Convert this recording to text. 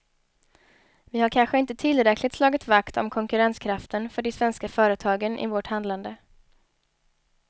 Vi har kanske inte tillräckligt slagit vakt om konkurrenskraften för de svenska företagen i vårt handlande.